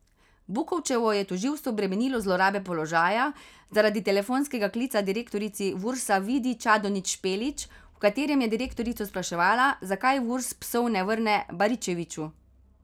Bukovčevo je tožilstvo bremenilo zlorabe položaja, zaradi telefonskega klica direktorici Vursa Vidi Čadonič Špelič, v katerem je direktorico spraševala, zakaj Vurs psov ne vrne Baričeviču.